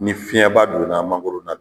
Ni fiɲɛba donna mangoro la